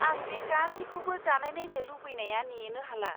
आं बे गासैखौबो जानायनायनो लुबैनाया नेनो हाला।